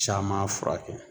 Caman furakɛ